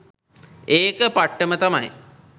ඒක පට්ටම තමයි.